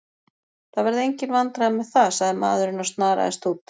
Það verða engin vandræði með það, sagði maðurinn og snaraðist út.